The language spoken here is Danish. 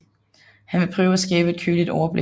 Han vil prøve at skabe et køligt overblik